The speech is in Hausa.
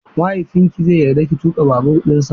Mahaifinki zai yarda ki tuƙa babur dinsa?